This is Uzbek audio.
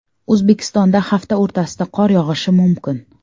O‘zbekistonda hafta o‘rtasida qor yog‘ishi mumkin.